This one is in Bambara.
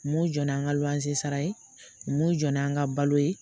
Mun jɔn n'an ka luwanze sara ye mun jɔ n'an ka balo ye